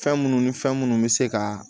Fɛn munnu ni fɛn munnu be se ka